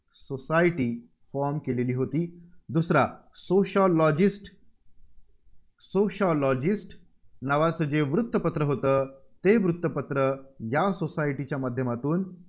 society form केलेली होती. दुसरा Sociologist Sociologist नावाचं जे वृत्तपत्र होतं, ते वृत्तपत्र या society च्या माध्यमातून